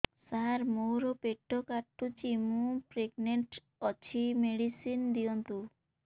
ସାର ମୋର ପେଟ କାଟୁଚି ମୁ ପ୍ରେଗନାଂଟ ଅଛି ମେଡିସିନ ଦିଅନ୍ତୁ